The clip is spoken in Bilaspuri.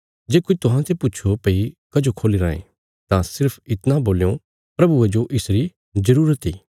जे कोई तुहांते पुछो भई कजो खोल्ली रायें तां सिर्फ इतणा बोल्यों प्रभुये जो इसरी जरूरत इ